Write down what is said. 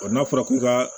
n'a fɔra ko ka